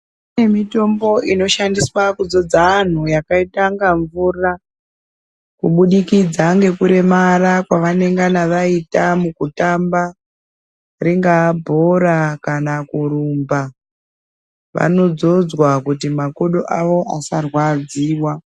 Kune mitombo inoshandiswa kudzodza antu yakaita nga mvura kubudikidza ngekuremara kwavanengana vaita mukutamba ringaa bhora kana kurumba. Vanodzodzwa kuti makodo awo asarwadziwa.